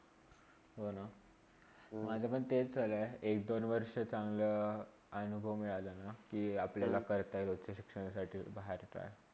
हो ना, माझा पण तेच चालू आहे. एक दोन वर्षा चांगला अनुभव मिळालाना कि आपल्याला काळता येईल उच्च शिक्षणासाठी बाहेरचा.